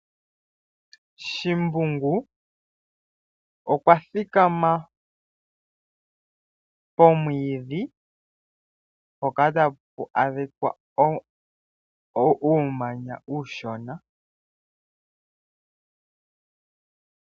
Shimbungu okwa thikama pomwiidhi mpoka ta pu adhika uumanya uushona.